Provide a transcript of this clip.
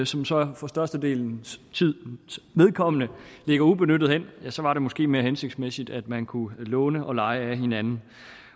som så for størstedelens vedkommende ligger ubenyttede hen så var det måske mere hensigtsmæssigt at man kunne låne og leje af hinanden